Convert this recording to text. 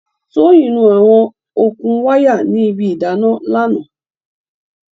Tóyìn nu àwọn okùn wáyà ní ibi ìdáná lánàá.